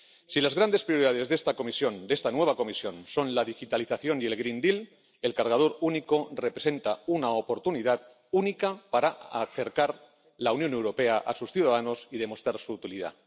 Si las grandes prioridades de esta Comisión, de esta nueva Comisión, son la digitalización y el Pacto Verde, el cargador único representa una oportunidad única para acercar la Unión Europea a sus ciudadanos y demostrar su utilidad.